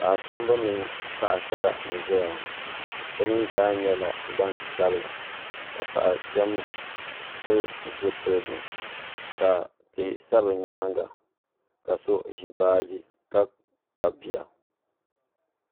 paɣ'kpamba mini paɣ'sara n-ʒeya ŋɔ bɛ mii zaa nyɛla gban'sabila ka paɣ'kpiɛm pili zupiligu ka tihi sa bɛ nyaaŋa ka so ʒi baaji ka kpabi bia